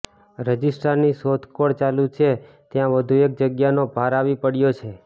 રજિસ્ટ્રારની શોધખોળ ચાલુ છે ત્યાં વધુ એક જગ્યાનો ભાર આવી પડયો છે